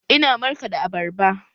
Ina markaɗa abarba.